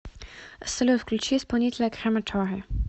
салют включи исполнителя крематори